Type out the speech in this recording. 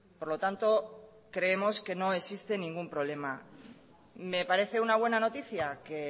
por lo tanto creemos que no existe ningún problema me parece una buena noticia que